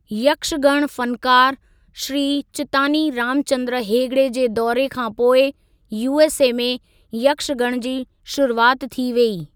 यक्षगण फनकार, श्री चित्‍तानी रामचंद्र हेगडे जे दौरे खां पोइ यूएसए में यक्षगण जी शरुआति थी वेई।